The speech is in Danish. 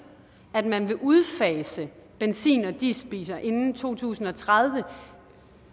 at man vil udfase benzin og dieselbiler inden to tusind og tredive